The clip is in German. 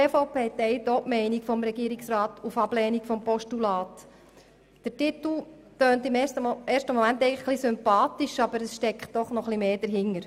Der Titel klingt auf den ersten Blick eigentlich sympathisch, aber es steckt mehr dahinter.